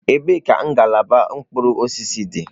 Ebee ka ngalaba mkpụrụ osisi dị?